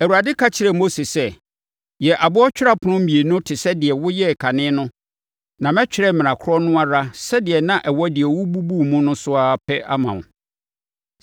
Awurade ka kyerɛɛ Mose sɛ, “Yɛ aboɔ twerɛ apono mmienu te sɛ deɛ woyɛɛ kane no na mɛtwerɛ mmara korɔ no ara sɛdeɛ na ɛwɔ deɛ wobubuu mu no so ara pɛ ama wo.